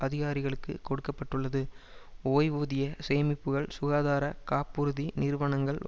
அதிகாரிகளுக்கு கொடுக்க பட்டுள்ளது ஓய்வூதிய சேமிப்புக்கள் சுகாதார காப்புறுதி நிறுவனங்கள்